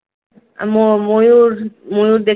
ময়ূর ময়ূর দেখ